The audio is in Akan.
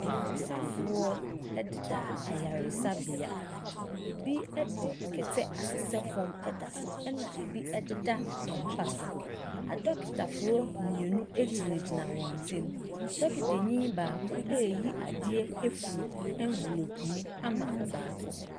Ayaresafoɔ ɛdeda ayaresabea. Ebi ɛde kɛtɛ asesɛ fɔm, ɛda so, ɛna ebi ɛdeda ɛmpa so. Adɔkotafoɔ mienu egyina gyina wɔntɛn. Adɔkotafoɔ no mu baako ɛde nensa ahyɛ ɛnfelope mu eyi adeɛ ama ɔbaako.